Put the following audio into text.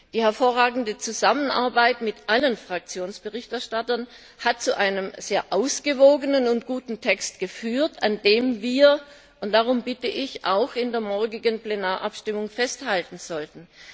Die hervorragende Zusammenarbeit mit allen Schattenberichterstattern der Fraktionen hat zu einem sehr ausgewogenen und guten Text geführt, an dem wir und darum bitte ich auch in der morgigen Plenarabstimmung festhalten sollten.